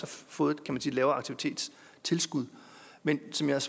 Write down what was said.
fået et lavere aktivitetstilskud men som jeg